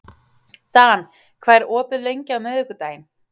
Dan, hvað er opið lengi á miðvikudaginn?